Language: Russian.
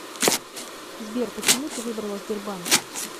сбер почему ты выбрала сбербанк